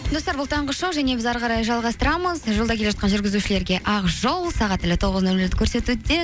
достар бұл таңғы шоу және біз әріқарай жалғастырамыз жолда келе жатқан жүргізушілерге ақ жол сағат тілі тоғыз нөл нөлді көрсетуде